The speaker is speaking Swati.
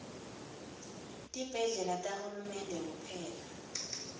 tibhedlela tahulumende kuphela